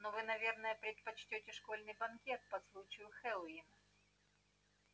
но вы наверное предпочтёте школьный банкет по случаю хэллоуина